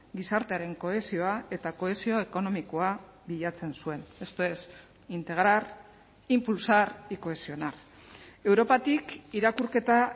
gizartearen kohesioa eta kohesio ekonomikoa bilatzen zuen esto es integrar impulsar y cohesionar europatik irakurketa